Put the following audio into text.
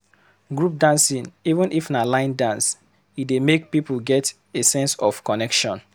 Group dancing even if na line dance, e dey make people get a sense of connection